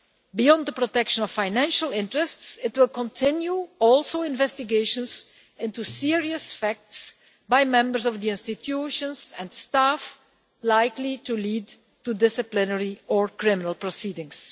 Beyond the protection of financial interests it will continue also investigations into serious facts by members of the institutions and staff, likely to lead to disciplinary or criminal proceedings.